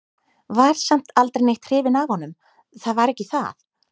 Var samt aldrei neitt hrifin af honum, það var ekki það.